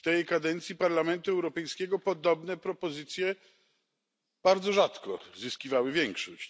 W tej kadencji Parlamentu Europejskiego podobne propozycje bardzo rzadko zyskiwały większość.